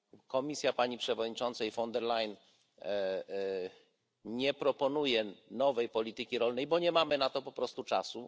Komisja Pani Przewodniczącej von der Leyen nie proponuje nowej polityki rolnej, bo nie mamy na to po prostu czasu.